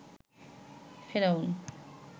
ফেরাউন